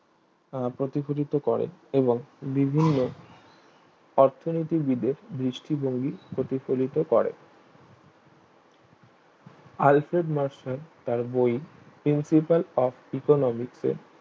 আহ প্রতিফলিত করে এবং বিভিন্ন অর্থনীতি বিদে দৃষ্টিভঙ্গি প্রতিফলিত করে আলসেন মার্শান তার বই principle of Economics এ